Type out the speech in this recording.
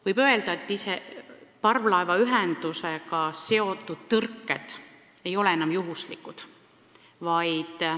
Võib öelda, et parvlaevaühendusega seotud tõrked ei ole enam juhuslikud.